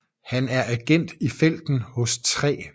Han er agent i felten hos 3